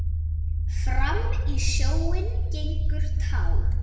Fram í sjóinn gengur tá.